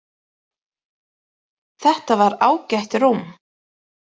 Þetta var ágætt rúm.